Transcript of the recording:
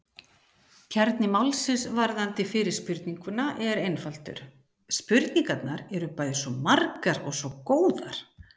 Kjarni málsins varðandi fyrri spurninguna er einfaldur: Spurningarnar eru bæði svo margar og svo góðar!